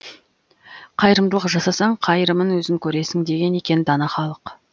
қайырымдылық жасасаң қайырымын өзің көресің деген екен дана халық